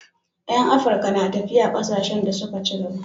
Yan Afirka na tafiya kasashen da suka ci gaba